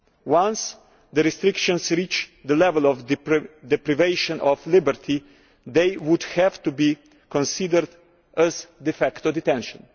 Once the restrictions reach the level of deprivation of liberty, they would have to be considered as de facto detention.